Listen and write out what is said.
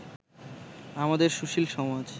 আমাদের সুশীল সমাজ